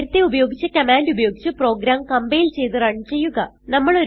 നേരത്തെ ഉപയോഗിച്ച കമാൻഡ് ഉപയോഗിച്ച് പ്രോഗ്രാം കംപൈൽ ചെയ്ത് റൺ ചെയ്യുക